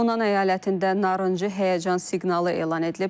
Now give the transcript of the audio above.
Honan əyalətində narıncı həyəcan siqnalı elan edilib.